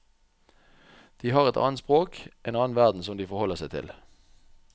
De har et annet språk, en annen verden som de forholder seg til.